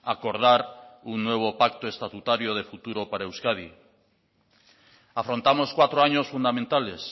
acordar un nuevo pacto estatutario de futuro para euskadi afrontamos cuatro años fundamentales